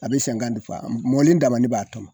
A bɛ fa a mɔlen dama le b'a tɔmɔn.